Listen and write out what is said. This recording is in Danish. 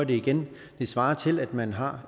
det igen det svarer til at man har